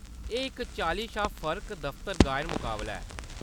एह्‌‌ इक चाल्ली शा फर्क-दफतर गायन मकाबला ऐ।